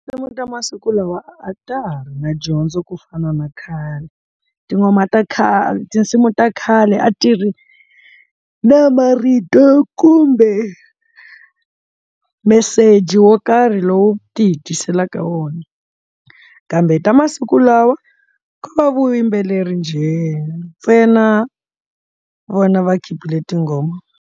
Tinsimu ta masiku lawa a ta ha ri na dyondzo ku fana na khale tin'wana ta khale tinsimu ta khale a tirhi na marito kumbe meseji wo karhi lowu ti hi tiselaka wona kambe ta masiku lawa ko va vuyimbeleri gender na vona va khipile tinghoma.